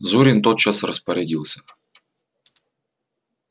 зурин тотчас распорядился